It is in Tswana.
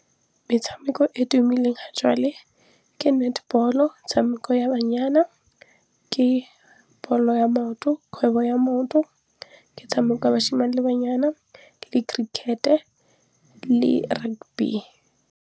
Metshameko e tumileng ha jwale ke netball-o, metshameko ya banyana, ke ball-o ya maoto kgwebo ya maoto e tshameka bashimane le banyana le cricket-e le rugby.